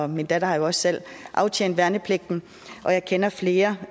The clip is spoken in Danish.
min datter har jo også selv aftjent værnepligt og jeg kender flere